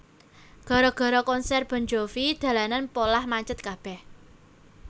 Gara gara konser Bon Jovi dalanan poleh macet kabeh